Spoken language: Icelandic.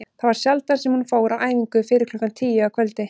Það var sjaldan sem hún fór á æfingu fyrir klukkan tíu að kvöldi.